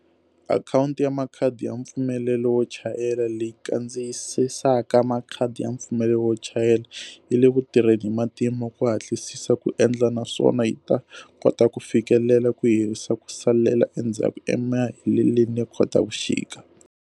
Akhawuti ya Makhadi ya mpfumelelo wo chayela, leyi kandziyisaka makhadi ya mpfumelelo wo chayela, yi le ku tirheni hi matimba ku hatlisisa ku endla naswona yi ta kota ku fikelela ku herisa ku salela endzhaku emaheleni ya Khotavuxika.